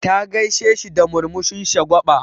Ta gaisheshi da murmushin shagwa6a.